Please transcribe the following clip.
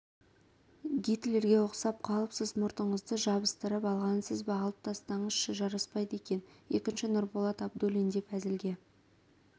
гитлерге ұқсап қалыпсыз мұртыңызды жабысытырып ойғансыз ба алып тастаңызшы жараспайды екен екінші нұрболат абдуллин деп әзілге